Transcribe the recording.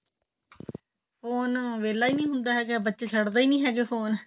phone ਵਹਿਲਾ ਹੀ ਨਹੀਂ ਹੁੰਦਾ ਹੈਗਾ ਬੱਚੇ ਛੱਡਦੇ ਹੀ ਨਹੀਂ ਹੈਗੇ ਫੋਨ